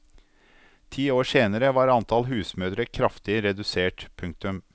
Ti år senere var antall husmødre kraftig redusert. punktum